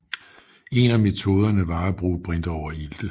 En af metoderne var at bruge brintoverilte